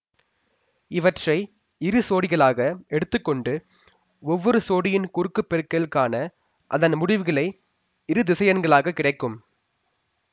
இவற்றை இரு சோடிகளாக எடுத்து கொண்டு ஒவ்வொரு சோடியின் குறுக்குப் பெருக்கல் காண அதன் முடிவுகளை இரு திசையன்களாக கிடைக்கும்